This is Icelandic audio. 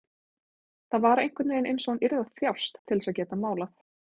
Það var einhvern veginn einsog hún yrði að þjást til að geta málað.